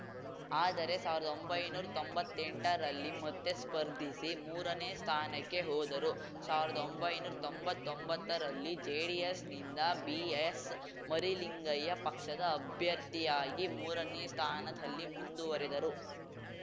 ಆದರೆ ಸಾವಿರ್ದೊಂಬೈನೂರಾ ತೊಂಬತ್ತೆಂಟರಲ್ಲಿ ಮತ್ತೆ ಸ್ಪರ್ಧಿಸಿ ಮೂರನೇ ಸ್ಥಾನಕ್ಕೆ ಹೋದರು ಸಾವಿರ್ದೊಂಬೈನೂರ್ ತೊಂಬತ್ತೊಂಬತ್ತ ರಲ್ಲಿ ಜೆಡಿಎಸ್‌ನಿಂದ ಬಿಎಸ್‌ಮರಿಲಿಂಗಯ್ಯ ಪಕ್ಷದ ಅಭ್ಯರ್ಥಿಯಾಗಿ ಮೂರನೇ ಸ್ಥಾನದಲ್ಲಿ ಮುಂದುವರಿದರು